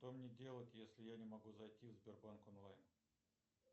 что мне делать если я не могу зайти в сбербанк онлайн